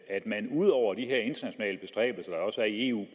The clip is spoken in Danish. at man ud over de her internationale bestræbelser der også er i eu